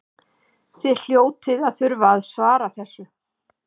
Þið hljótið að þurfa að svara þessu?